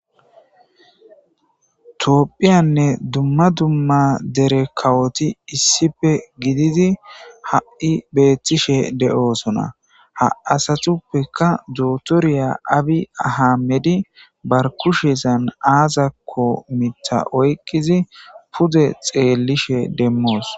toophphiyanne dumma dumma dere kawoti issife gidizi ha7i beettishe de7oosona ha asatuppeka dootoriya abi ahamedi barkushezan aazakko mita oykkizi pude xeellishe demmoos